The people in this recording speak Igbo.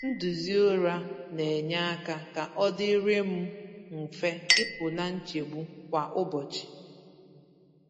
Nduzi ụra na-enye aka ka ọdịrị m mfe ịpụ na nchegbu kwa ụbọchị.